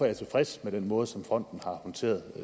jeg tilfreds med den måde som fonden har håndteret